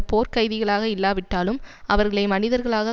போர்க் கைதிகளாக இல்லாவிட்டாலும் அவர்களை மனிதர்களாக